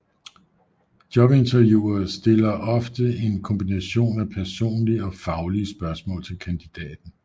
Jobinterviewere stiller ofte en kombination af personlige og faglige spørgsmål til kandidaten